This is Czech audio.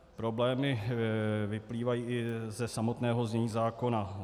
Problémy vyplývají i ze samotného znění zákona.